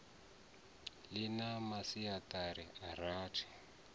ḽi na masiaṱari a rathi